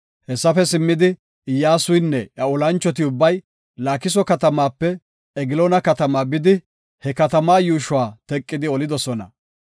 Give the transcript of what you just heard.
Hessafe simmidi, Iyyasuynne iya olanchoti ubbay Laakiso katamaape Egloona katamaa bidi, he katama yuushuwa teqidi olidosona.